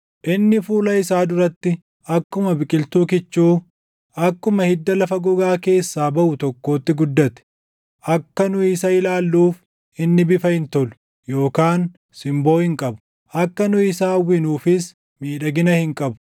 Inni fuula isaa duratti akkuma biqiltuu kichuu, akkuma hidda lafa gogaa keessaa baʼu tokkootti guddate. Akka nu isa ilaalluuf, inni bifa hin tolu, // yookaan simboo hin qabu; akka nu isa hawwinuufis miidhagina hin qabu.